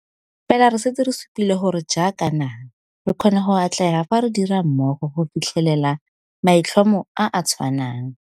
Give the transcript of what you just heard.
Fela re setse re supile gore jaaka naga, re kgona go atlega fa re dira mmogo go fitlhelela maitlhomo a a tshwanang.